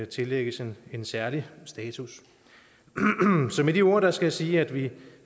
tillægges en særlig status så med de ord skal jeg sige at vi